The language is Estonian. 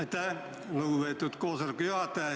Aitäh, lugupeetud koosoleku juhataja!